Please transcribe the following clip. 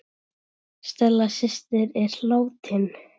Stella systir er látin.